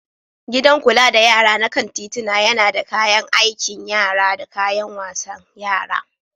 Gidan kula da yara na kan titina yana da kayan aikin yara da kayan wasan yara.